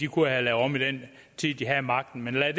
kunne have lavet om i den tid de havde magten men lad